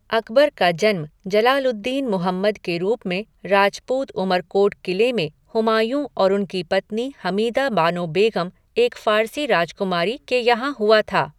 अकबर का जन्म जलाल उद दीन मुहम्मद के रूप में, राजपूत उमरकोट किले में हुमायूँ और उनकी पत्नी हमीदा बानो बेग़म, एक फ़ारसी राजकुमारी, के यहाँ हुआ था।